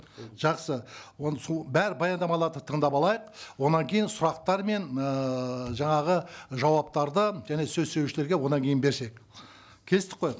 жақсы оны сол бәр баяндамаларды тыңдап алайық одан кейін сұрақтар мен ыыы жаңағы жауаптарды және сөз сөйлеушілерге одан кейін берсек келістік қой